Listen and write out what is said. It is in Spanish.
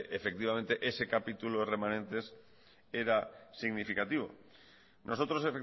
ese capítulo de remanentes era significativo nosotros